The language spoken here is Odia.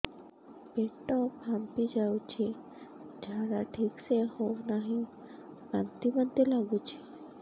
ପେଟ ଫାମ୍ପି ଯାଉଛି ଝାଡା ଠିକ ସେ ହଉନାହିଁ ବାନ୍ତି ବାନ୍ତି ଲଗୁଛି